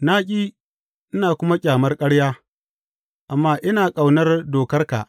Na ƙi ina kuma ƙyamar ƙarya amma ina ƙaunar dokarka.